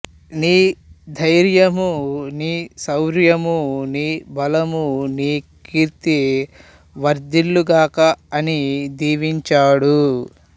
నీ ధైర్యమూ నీ శౌర్యమూ నీ బలము నీ కీర్తి వర్ధిల్లుగాక అని దీవించాడు